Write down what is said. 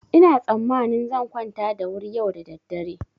Ina tsammanin zan kwanta da wuri yau da daddare.